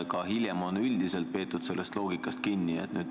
Ka hiljem on üldiselt sellest loogikast kinni peetud.